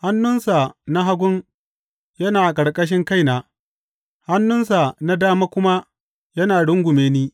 Hannunsa na hagu yana a ƙarƙashin kaina, hannunsa na dama kuma ya rungume ni.